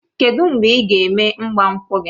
Kedụ mgbe ị ga-eme ịgbankwu gị?